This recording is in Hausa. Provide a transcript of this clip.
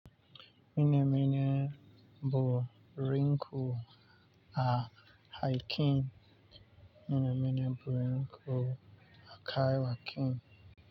Mine mine buri rinku a haikin. Ina niman burin ku a kai wa kin.